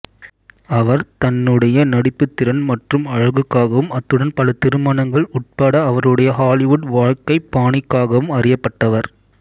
அவர் தன்னுடைய நடிப்புத் திறன் மற்றும் அழகுக்காவும் அத்துடன் பல திருமணங்கள் உட்பட அவருடைய ஹாலிவுட் வாழ்க்கைப் பாணிக்காகவும் அறியப்பட்டவர்